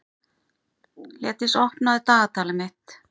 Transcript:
Hlédís, opnaðu dagatalið mitt.